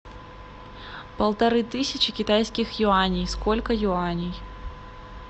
полторы тысячи китайских юаней сколько юаней